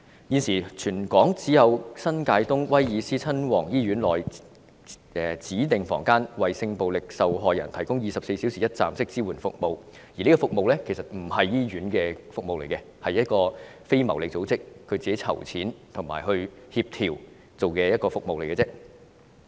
現時，全港只有新界東威爾斯親王醫院內的指定房間為性暴力受害人提供24小時一站式支援服務，但其實此服務並不是由醫院提供的服務，而是由非牟利組織自行籌錢及協調所辦的服務。